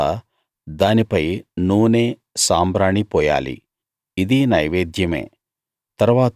తరువాత దానిపై నూనె సాంబ్రాణి పోయాలి ఇదీ నైవేద్యమే